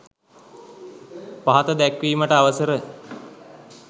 පහත දැක්වීමට අවසර